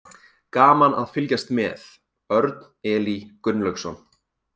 Gaman að fylgjast með: Örn Elí Gunnlaugsson.